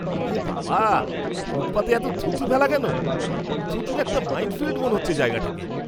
এ বাবা, ফুটপাথে এত থুতু ফেলা কেন? থুতুর একটা মাইনফিল্ড মনে হচ্ছে জায়গাটাকে।